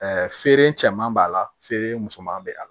feere cɛman b'a la feere musoman bɛ a la